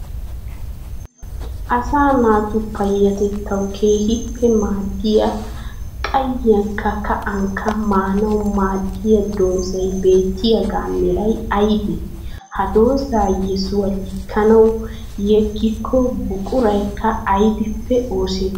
Asaa naatu payyatettawu keehippe maadiyaa qayiyyankka ka'inkka maanawu maadiyaa doozay beetiyaaga meray aybee? Ha doozaa yesuwaa likanawu yegiddo buquraykka aybbippe oosetti?